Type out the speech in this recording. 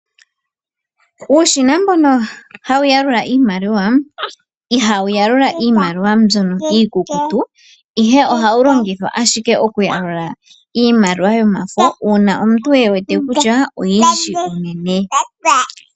Uushina mbono hasu yalula iimaliwa, ihawu yalula iimaliwa mbyono iikukutu, ihr ohawu longithwa ashike okuyalula iimaliwa yomafo. Uuna imuntu ewete kutya oyindji unene.